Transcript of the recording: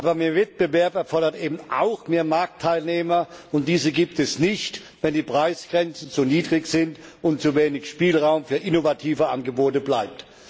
Aber mehr Wettbewerb erfordert eben auch mehr Marktteilnehmer, und diese gibt es nicht, wenn die Preisgrenzen zu niedrig sind und zu wenig Spielraum für innovative Angebote bleibt.